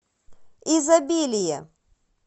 изобилие